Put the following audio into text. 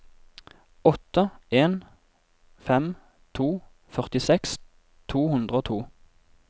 åtte en fem to førtiseks to hundre og to